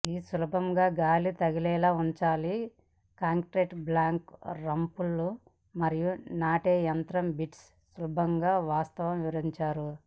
ఈ సులభంగా గాలి తగిలేలా ఉంచాలి కాంక్రీటు బ్లాకుల రంపపు మరియు నాటే యంత్రం బిట్స్ సులభం వాస్తవం వివరించారు